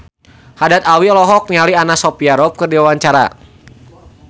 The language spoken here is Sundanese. Haddad Alwi olohok ningali Anna Sophia Robb keur diwawancara